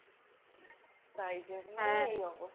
তাই জন্য এই অবস্থা।